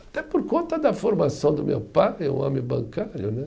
Até por conta da formação do meu pai, um homem bancário, né?